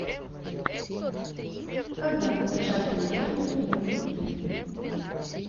когда напечатали первую книгу в мире